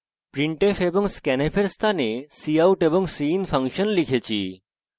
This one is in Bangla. printf এবং scanf এর স্থানে cout এবং cin ফাংশন লিখেছি